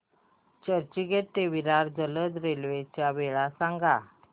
चर्चगेट ते विरार जलद रेल्वे च्या वेळा सांगा